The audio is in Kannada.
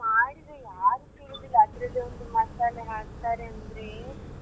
ಮಾಡಿದ್ರೆ ಯಾರು ಕೇಳೋದಿಲ್ಲ ಅದ್ರಲ್ಲಿ ಒಂದು ಮಸಾಲೆ ಹಾಕ್ತಾರೆ ಅಂದ್ರೆ.